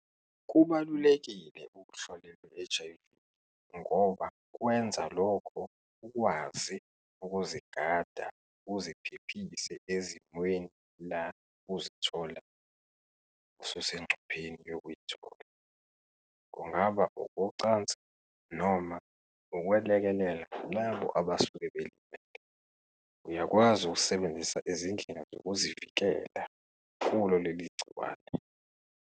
Kubalulekile ukuhlolelwe i-H_I_V ngoba kwenza lokho ukwazi ukuzigada, uziphephise ezimweni la uzithola ususengcupheni yokuyithola. Kungaba ukocansi noma ukwelekelela labo abasuke belimele. Uyakwazi ukusebenzisa izindlela zokuzivikela kulo leli gciwane.